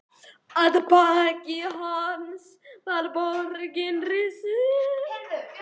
Að baki hans var borg risin.